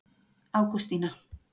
Ágústína